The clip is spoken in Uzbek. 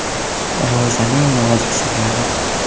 Ro‘zaning nozik sirlari.